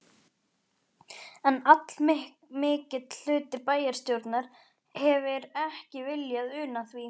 En allmikill hluti bæjarstjórnar hefir ekki viljað una því.